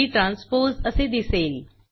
P transpose असे दिसेल